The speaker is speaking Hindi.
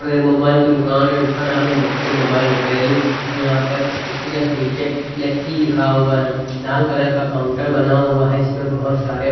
ये मोबाइल की दुकान हैं जिसका नाम हैं व्यखी मोबाइल रिपेयरिंग और यहाँ पर इसकी जस्ट नीचे लेकी ही लिखा हुआ हैं लाल कलर का काउंटर बना हुआ हैं इसमें बहोत सारे--